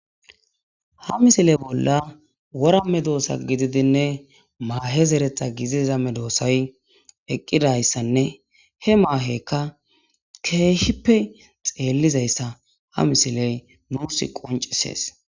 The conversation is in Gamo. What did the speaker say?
ha misiley bolla worame doosa gididinne maahe zeretha giziza me doossay eqqidayssanne he maahekka keehippe xeellizayssa ha misiley nuus qoncisees